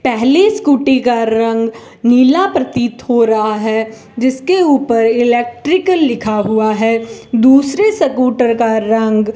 पहले स्कूटी का रंग नीला प्रतीत हो रहा है जिसके ऊपर इलेक्ट्रिक लिखा हुआ है दूसरे स्कूटर का रंग --